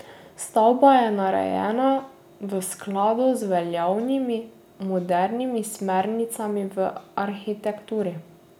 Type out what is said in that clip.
Stavba je narejena v skladu z veljavnimi modernimi smernicami v arhitekturi.